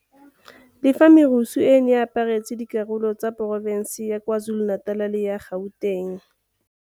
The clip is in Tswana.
Le fa merusu e e neng e aparetse dikarolo tsa porofense ya KwaZulu-Natal le ya Gauteng.